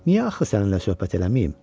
Niyə axı səninlə söhbət eləmiyəm?